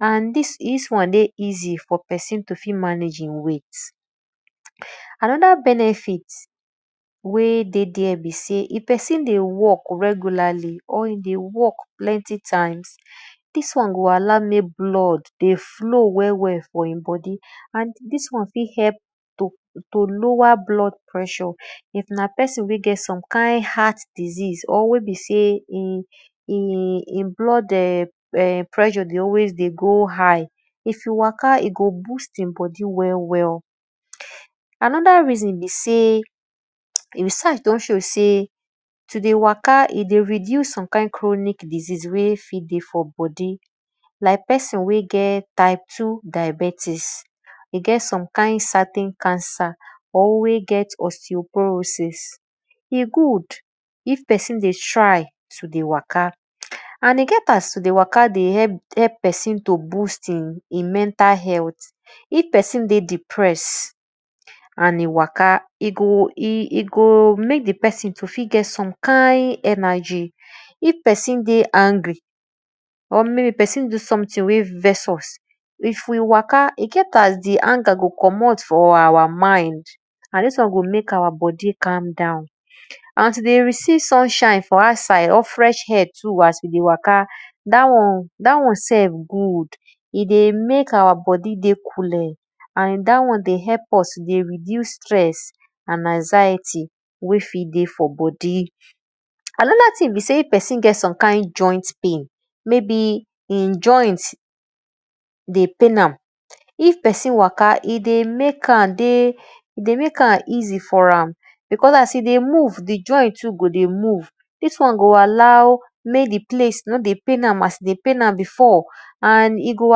and dis won dey easy for pesin to fit manage weight, anoda benefit wey de ther be sey if pesin dey walk regularly or e dey walk plenty times, dis won go allow mek blood dey floow well well for e bodi amd dis won fit help to lower blood pressure if na pesin wey get some kind heart disease or wey be sey e blood[um]opressure dey always dey go high if e waka e go boost e bodi well well. Anoda reason be sey, research don show s ey to dey waka, e dey reduce some kind chronc disease wey fit dey for bodi like pesin wey get type two diabetics e get some kind certain cancer. E good if pesin dey try to dey waka and e get as to dey waka dey help pesin to boost e mentakl heaklth if pesin dey depress and e waka, e go mek di pesin to fit get some kine energy, iff pesin dey angry or maybe pesin do something ey vex us, if we waka e get as di anger go commot for our mind and dis wan go mek our bodi calm down. And to dey receive sunshine for outside or fresh air too as we dey waka dat won self good, e dey mek our bodi dey kule and dat won dey reduce stress and anxiety wey fit dey bodi. Anoda thing na sey if psin get some kind joint pain, if pesin waka e dey mek am dey e dey mek am easy for am because as e dey move, di joy too dey move dos won go allow mek di place as e dey pain am, e no go pain am again and e go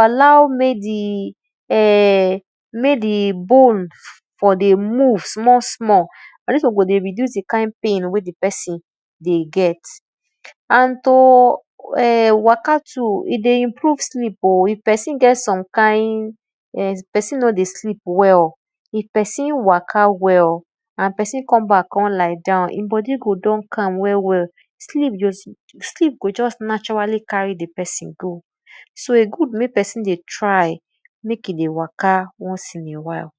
allow mek di[um]bone for de move small small. Na dis won go dey reduce di kind pain wey di pesin go dey get. And to waka too, e be improve sleep o if opesin get some kind if pesin nor dey sleep well, if pesin weaka well and pesin come back come lie down, bodi go just calm well well, sleep go just naturally carry pesin dey go so e good mek pesin try mek e dey waka once in a while.